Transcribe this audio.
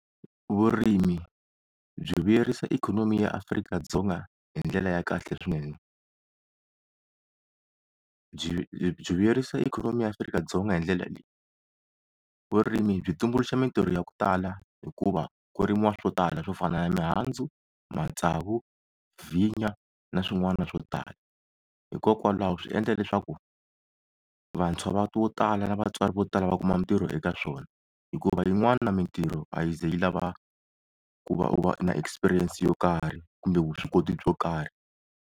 Vurimi byi vuyerisa ikhonomi ya Afrika-Dzonga hindlela ya kahle swinene, byi byi vuyerisa ikhonomi ya Afrika-Dzonga hindlela leyi, vurimi byi tumbuluxa mintirho ya ku tala hikuva ku rimiwa swo tala swo fana na mihandzu matsavu, vinya na swin'wana swo tala hikokwalaho swi endla leswaku vantshwa va vo tala na vatswari vo tala va kuma mintirho eka swona hikuva yin'wana mintirho a yi ze yi lava ku va u va na exerperience yo karhi kumbe vuswikoti byo karhi.